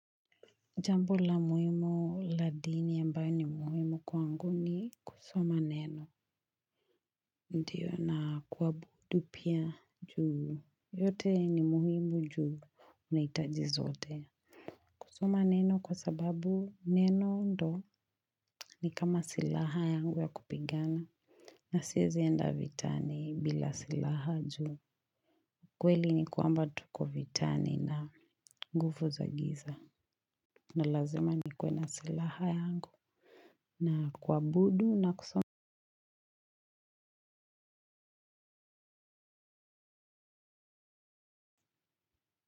Jambo la muhimu la dini ambayo ni muhimu kwangu ni kusoma neno. Ndiyo na kuwabudu pia juu yote ni muhimu juu unahitaji zote. Kusoma neno kwa sababu neno ndo ni kama silaha yangu ya kupigana. Na siezi enda vitani bila silaha juu. Kweli ni kwamba tuko vitani na guvu zagiza. Na lazima nikuwe na silaha yangu. Na kwabudu na kusoma.